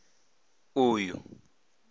uyu